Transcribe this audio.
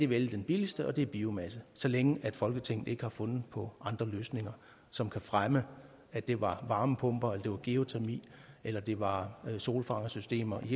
vælge den billigste og det er biomasse så længe folketinget ikke har fundet på andre løsninger som kan fremme at det var varmepumper at det var geotermi eller at det var solfangersystemer i